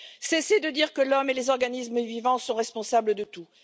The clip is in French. Cesser de dire que l'homme et les organismes vivants sont responsables de tout